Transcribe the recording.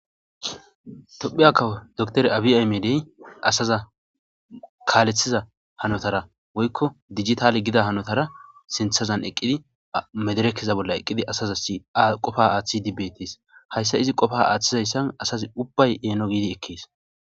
tophiya kawo docter abiaymedey asaza kaaleththiza hanotara woykko dijitali gida hanotara sinthazan eqqidi mederekkiza bolla eqqidi asaza aqofa aaththi dibetis hayssa izi qofa aaththizayssan asazi ubbay eeno giidi ekkees